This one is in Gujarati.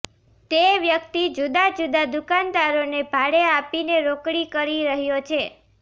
તે વ્યક્તિ જુદા જુદા દુકાનદારોને ભાડે આપીને રોકડી કરી રહ્યો છે